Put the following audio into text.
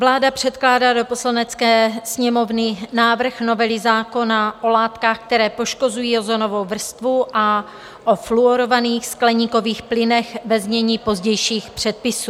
Vláda předkládá do Poslanecké sněmovny návrh novely zákona o látkách, které poškozují ozonovou vrstvu, a o fluorovaných skleníkových plynech, ve znění pozdějších předpisů.